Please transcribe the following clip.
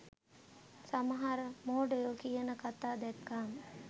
සමහර මෝඩයො කියන කතා දැක්කම